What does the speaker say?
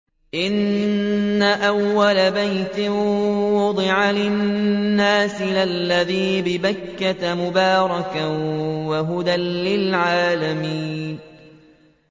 إِنَّ أَوَّلَ بَيْتٍ وُضِعَ لِلنَّاسِ لَلَّذِي بِبَكَّةَ مُبَارَكًا وَهُدًى لِّلْعَالَمِينَ